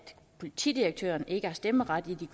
politidirektøren ikke har stemmeret i